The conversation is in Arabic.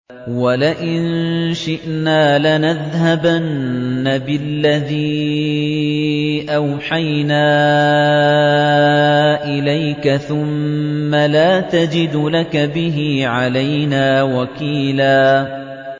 وَلَئِن شِئْنَا لَنَذْهَبَنَّ بِالَّذِي أَوْحَيْنَا إِلَيْكَ ثُمَّ لَا تَجِدُ لَكَ بِهِ عَلَيْنَا وَكِيلًا